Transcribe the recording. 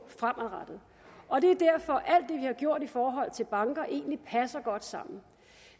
fremadrettet og det er derfor at vi har gjort i forhold til banker egentlig passer godt sammen